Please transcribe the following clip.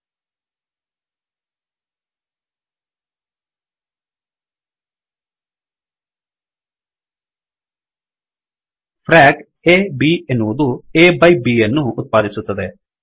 frock frac a b ಎನ್ನುವದು A by by B ಯನ್ನು ಉತ್ಪಾದಿಸುತ್ತದೆ